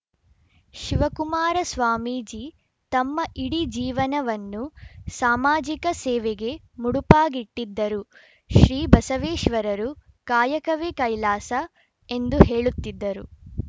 ಶಿವಕುಮಾರ ಸ್ವಾಮೀಜಿ ತಮ್ಮ ಇಡೀ ಜೀವನವನ್ನು ಸಾಮಾಜಿಕ ಸೇವೆಗೆ ಮುಡಿಪಾಗಿಟ್ಟಿದ್ದರು ಶ್ರೀ ಬಸವೇಶ್ವರರು ಕಾಯಕವೇ ಕೈಲಾಸ ಎಂದು ಹೇಳುತ್ತಿದ್ದರು